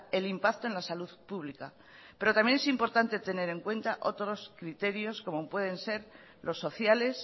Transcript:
el impacto en la salud pública pero también es importante tener en cuenta otros criterios como pueden ser los sociales